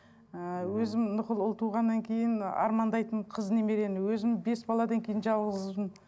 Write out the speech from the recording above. ы өзім ұл туғаннан кейін армандайтынмын қыз немерені өзім бес баладан кейін жалғыз қызбын